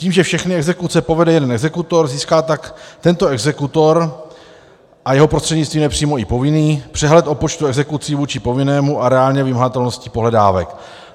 Tím, že všechny exekuce povede jeden exekutor, získá tak tento exekutor a jeho prostřednictvím nepřímo i povinný přehled o počtu exekucí vůči povinnému a reálné vymahatelnosti pohledávek.